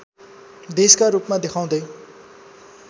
देशका रूपमा देखाउँदै